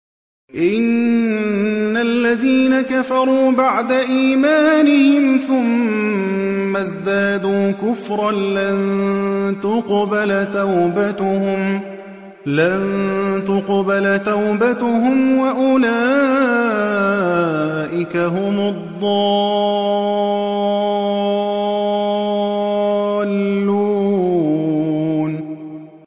إِنَّ الَّذِينَ كَفَرُوا بَعْدَ إِيمَانِهِمْ ثُمَّ ازْدَادُوا كُفْرًا لَّن تُقْبَلَ تَوْبَتُهُمْ وَأُولَٰئِكَ هُمُ الضَّالُّونَ